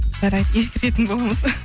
жарайды ескеретін боламыз